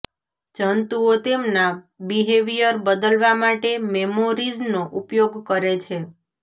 જંતુઓ તેમના બિહેવિયર બદલવા માટે મેમોરિઝનો ઉપયોગ કરે છે